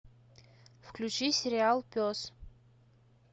включи сериал пес